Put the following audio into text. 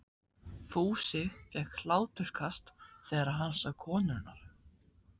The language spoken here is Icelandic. Fúsi fékk hláturskast þegar hann sá konurnar.